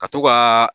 Ka to ka